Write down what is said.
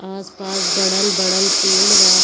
आस-पास बड़ल बड़ल पेड़ बा।